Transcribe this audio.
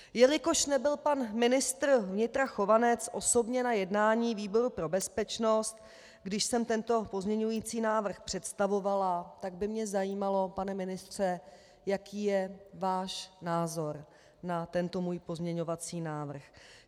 Jelikož nebyl pan ministr vnitra Chovanec osobně na jednání výboru pro bezpečnost, když jsem tento pozměňovací návrh představovala, tak by mě zajímalo, pane ministře, jaký je váš názor na tento můj pozměňovací návrh.